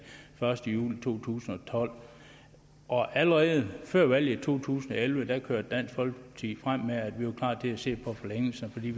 første juli to tusind og tolv og allerede før valget to tusind og elleve kørte dansk folkeparti frem med at vi var klar til at se på en forlængelse for vi